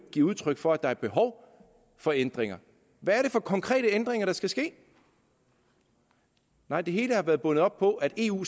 give udtryk for at der er behov for ændringer hvad er det for konkrete ændringer der skal ske nej det hele har været bundet op på at eu